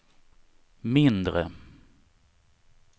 mindre